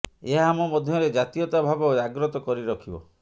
ଏହା ଆମ ମଧ୍ୟରେ ଜାତୀୟତା ଭାବ ଜାଗ୍ରତ କରି ରଖିବ